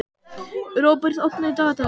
Róbert, opnaðu dagatalið mitt.